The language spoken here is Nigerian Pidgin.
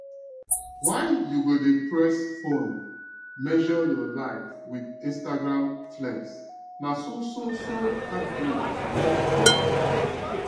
why you go dey press phone measure your life with instagram flex na so so so heartbreak you go collect